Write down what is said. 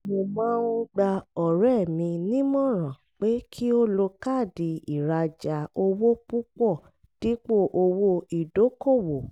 mo máa ń gba ọ̀rẹ́ mi nímọ̀ràn pé kí ó lo káàdì ìrajà owó púpọ̀ dípò owó ìdókòwò